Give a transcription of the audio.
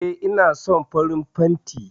E, ina son farin fanti